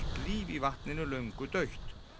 líf í vatninu löngu dautt